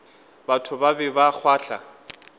batho ba be ba kgahlwa